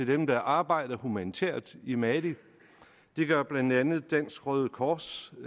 dem der arbejder humanitært i mali det gør blandt andet dansk røde kors